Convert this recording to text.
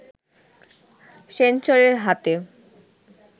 সেন্সরের হাতে